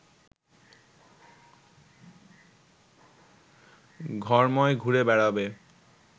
ঘরময় ঘুরে বেড়াবে